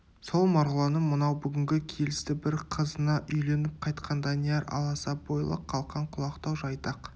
сол марғұланның мынау бүгінгі келісті бір қызына үйленіп қайтқан данияр аласа бойлы қалқан құлақтау жайдақ